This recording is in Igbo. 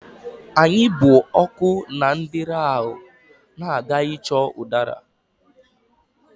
Anyị bụ ọkụ na ndeeri ahụ na-aga ịchọ ụdara.